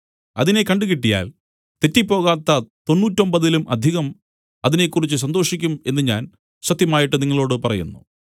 അതിനെ കണ്ടുകിട്ടിയാൽ തെറ്റിപ്പോകാത്ത തൊണ്ണൂറ്റൊമ്പതിലും അധികം അതിനെക്കുറിച്ച് സന്തോഷിക്കും എന്നു ഞാൻ സത്യമായിട്ട് നിങ്ങളോടു പറയുന്നു